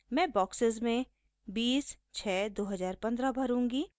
मैं बॉक्सेस में 20 06 2015 भरूँगी